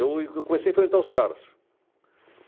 Eu e que eu comecei a enfrentar os caras.